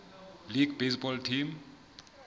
league baseball team